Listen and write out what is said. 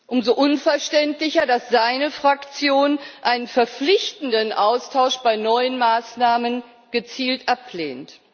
Umso unverständlicher, dass seine Fraktion einen verpflichtenden Austausch bei neuen Maßnahmen gezielt ablehnt.